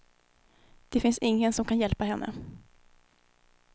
Det finns ingen som kan hjälpa henne.